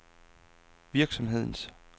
virksomhedens